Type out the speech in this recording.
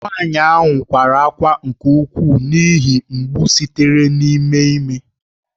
Nwanyị a kwara ákwá nke ukwuu n’ihi ihe mgbu sitere n’ime ime.